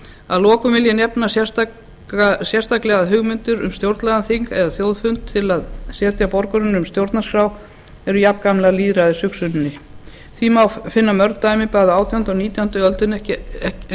að lokum vil ég nefna sérstaklega að hugmyndir um stjórnlagaþing eða þjóðfund til að setja borgurunum stjórnarskrá eru jafngamlar lýðræðishugsuninni því má finna mörg dæmi bæði á átjándu og nítjándu öldinni en